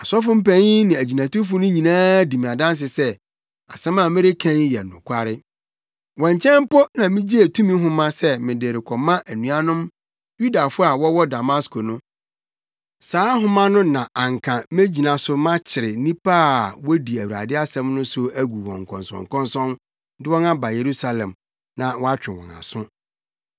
Ɔsɔfopanyin ne agyinatufo no nyinaa di me adanse sɛ, asɛm a mereka yi yɛ nokware. Wɔn nkyɛn mpo na migyee tumi nhoma sɛ mede rekɔma anuanom Yudafo a wɔwɔ Damasko no. Saa nhoma no na anka megyina so makyekyere nnipa a wodi Awurade asɛm so no agu wɔn nkɔnsɔnkɔnsɔn, de wɔn aba Yerusalem na wɔatwe wɔn aso.